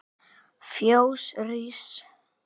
Fjós rís